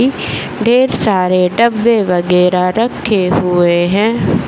इ ढेर सारे डब्बे वगेरा रखे हुए हैं।